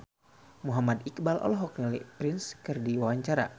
Muhammad Iqbal olohok ningali Prince keur diwawancara